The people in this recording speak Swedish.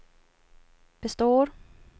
består